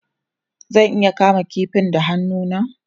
Zan iya kama kifin da hannu na?